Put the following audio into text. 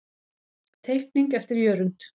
Teikning eftir Jörund.